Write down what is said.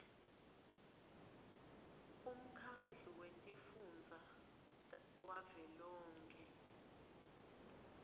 umkhandlu wetifundza wavelonkhe